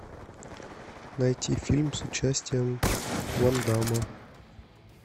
найти фильм с участием ван дамма